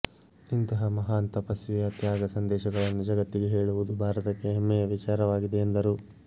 ಇಂತಹ ಮಹಾನ್ ತಪಸ್ವಿಯ ತ್ಯಾಗ ಸಂದೇಶಗಳನ್ನು ಜಗತ್ತಿಗೆ ಹೇಳುವುದು ಭಾರತಕ್ಕೆ ಹೆಮ್ಮೆಯ ವಿಚಾರವಾಗಿದೆ ಎಂದರು